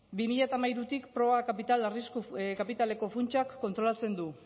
bi mila hamairutik proba kapital arrisku kapitaleko funtsak kontrolatzen du